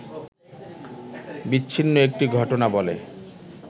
বিচ্ছিন্ন একটি ঘটনা বলে